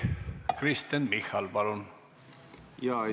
Kristen Michal, palun!